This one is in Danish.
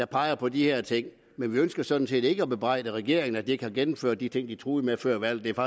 peger på de her ting men vi ønsker sådan set ikke at bebrejde regeringen at de ikke har gennemført de ting de truede med før valget